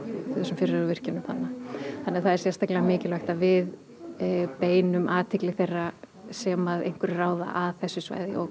þessum fyrirhuguðum virkjunum þannig það er sérstaklega mikilvægt að við beinum athygli þeirra sem að einhverju ráða að þessu svæði og